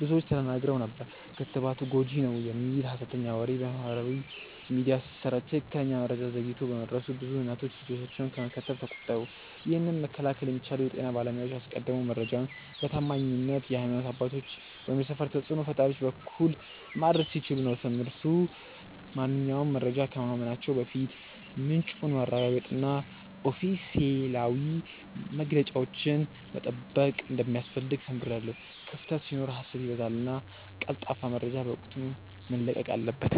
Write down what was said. ብዙዎች ተደናግረው ነበር። ክትባቱ ጎጂ ነው" የሚል ሀሰተኛ ወሬ በማህበራዊ ሚዲያ ሲሰራጭ ትክክለኛ መረጃ ዘግይቶ በመድረሱ ብዙ እናቶች ልጆቻቸውን ከመከተብ ተቆጠቡ። ይህንን መከላከል የሚቻለው የጤና ባለሙያዎች አስቀድመው መረጃውን በታማኝ የሀይማኖት አባቶች ወይም የሰፈር ተጽእኖ ፈጣሪዎች በኩል ማድረስ ሲችሉ ነበር። ትምህርቱ ማንኛውንም መረጃ ከማመናችን በፊት ምንጩን ማረጋገጥና ኦፊሴላዊ መግለጫዎችን መጠበቅ እንደሚያስፈልግ ተምሬያለሁ። ክፍተት ሲኖር ሀሰት ይበዛልና ቀልጣፋ መረጃ በወቅቱ መለቀቅ አለበት።